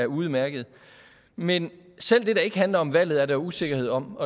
udmærket men selv det der ikke handler om valget er der usikkerhed om